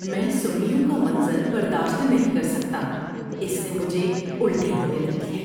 میں سُنڈیوں کا منظر برداشت نہیں کر سکتا، اس سے مجھے الٹی ہونے لگتی ہے۔